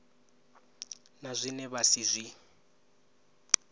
na zwine vha si zwi